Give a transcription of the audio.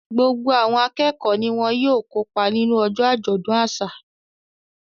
Gbogbo àwọn akẹ́kọ̀ọ́ ni wọ́n ó kópa nínú ọjọ́ àjọ̀dún àṣà